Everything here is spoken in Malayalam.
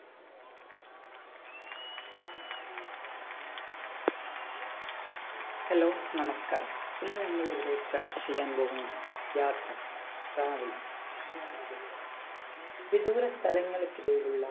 hello നമസ്കാരം ഇന്ന് നമ്മൾ ഇവിടെ ചർച്ച ചെയ്യാൻ പോകുന്നത് യാത്ര travel ഇതിനെ പറ്റിയാണ് വിദൂര സ്ഥലങ്ങൾക്കിടയിലുള്ള